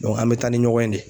an bɛ taa ni ɲɔgɔn ye de.